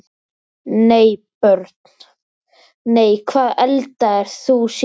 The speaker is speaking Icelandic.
Nei Börn: Nei Hvað eldaðir þú síðast?